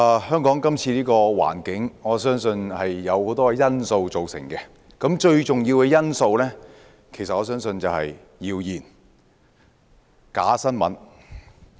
香港現時的環境由很多因素造成，而我相信最重要的因素其實就是謠言和假新聞。